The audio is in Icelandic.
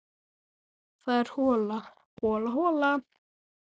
Það er hola, hola, hola.